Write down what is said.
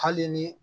Hali ni